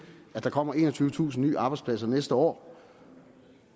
at der kommer enogtyvetusind nye arbejdspladser næste år